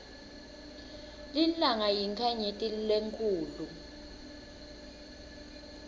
lilanga yinkhanyeti lenkhulu